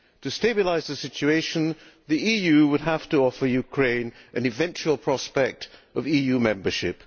To stabilise the situation the EU would have to offer Ukraine an eventual prospect of EU membership.